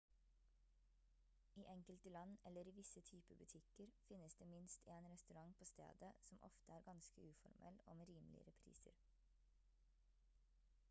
i enkelte land eller i visse type butikker finnes det minst en restaurant på stedet som ofte er ganske uformell og med rimeligere priser